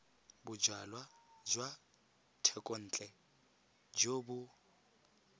bojalwa jwa thekontle jo bo